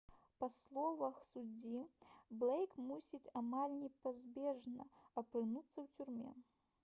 па словах суддзі блэйк мусіць «амаль непазбежна» апынуцца ў турме